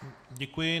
Děkuji.